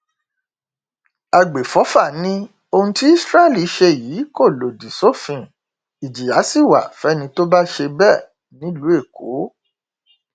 àgbẹfọfà ni ohun tí israel ṣe yìí kò lòdì sófin ìjìyà sí wa fẹni tó bá ṣe bẹẹ nílùú èkó